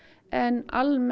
en almennt